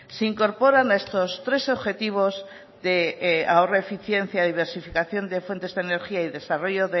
se incorporan a estos tres objetivos de ahorro eficiencia y diversificación de fuentes de energía y desarrollo